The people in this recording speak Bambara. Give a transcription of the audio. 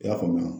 I y'a faamuya